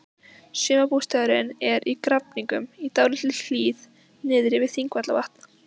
Sumarbústaðurinn er í Grafningnum, í dálítilli hlíð niðri við Þingvallavatn.